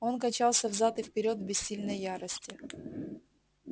он качался взад и вперёд в бессильной ярости